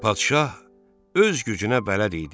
Padşah öz gücünə bələd idi.